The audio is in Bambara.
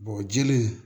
jeli